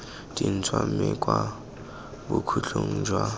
ntšhwa mme kwa bokhutlong jwa